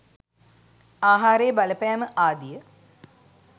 ආහාරයේ බලපෑම ආදිය